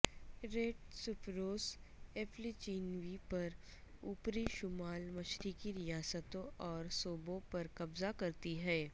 red spruce ایپلیچینیوں پر اوپری شمال مشرقی ریاستوں اور صوبوں پر قبضہ کرتی ہے